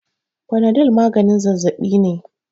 Fanadol maganin zazzabi ne